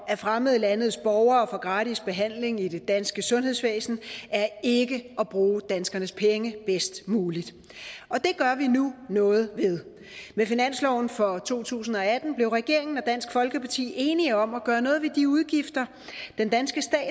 at fremmede landes borgere får gratis behandling i det danske sundhedsvæsen er ikke at bruge danskernes penge bedst muligt og det gør vi nu noget ved med finansloven for to tusind og atten blev regeringen og dansk folkeparti enige om at gøre noget ved de udgifter den danske stat